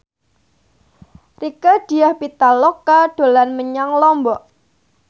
Rieke Diah Pitaloka dolan menyang Lombok